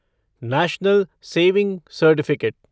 national saving certificate